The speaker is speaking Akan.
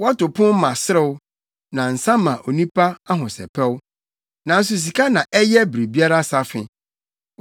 Wɔto pon ma serew, na nsa ma onipa ahosɛpɛw, nanso sika na ɛyɛ biribiara safe.